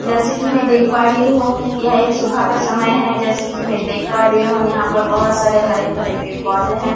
जैसे कि मैं देख पा ड़ही हूं यह एक सुबह का समय है जैसे कि मैं देख पा रही हूं यहां पर बहुत सारे हरे-भरे पेड़-पौधे हैं ।